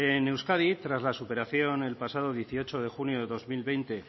en euskadi tras la superación el pasado dieciocho de junio de dos mil veinte